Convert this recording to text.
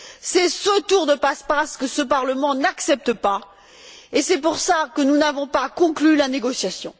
C'est ce tour de passe passe que ce Parlement n'accepte pas, et c'est pour cela que nous n'avons pas conclu la négociation.